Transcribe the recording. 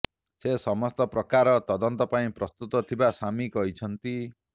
ସେ ସମସ୍ତ ପ୍ରକାର ତଦନ୍ତ ପାଇଁ ପ୍ରସ୍ତୁତ ଥିବା ସାମି କହିଛନ୍ତି